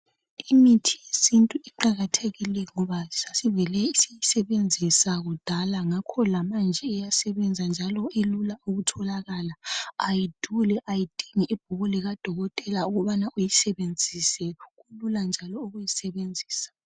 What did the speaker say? Imithi yesintu iqakathekile ngoba sasivele siyisebenzise kudala yikho lamanje iyasebenza njalo ilula ukutholakala ayiduli ayidindi ibhuku likadokotela ukubana uyisebenzise kulula njalo ukuyisebenzisa.